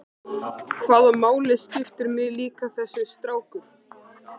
Hvaða máli skiptir mig líka þessi strákur?